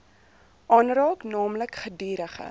aanraak naamlik gedurige